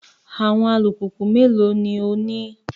Àwọn alùpùpù méèló ni o ní?